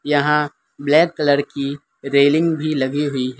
यहाँ black colour कि railing भी लगी हुई हैं।